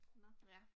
Nåh